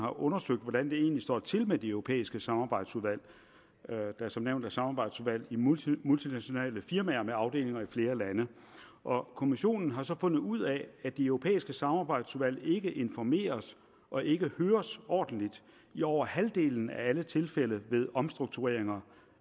har undersøgt hvordan det egentlig står til med de europæiske samarbejdsudvalg der som nævnt er samarbejdsudvalg i multinationale firmaer med afdelinger i flere lande kommissionen har så fundet ud af at de europæiske samarbejdsudvalg ikke informeres og ikke høres ordentligt i over halvdelen af alle tilfælde ved omstruktureringer